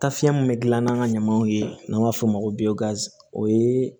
Tafiɲɛ min be gilan n'a ka ɲamaw ye n'an b'a f'o ma o yee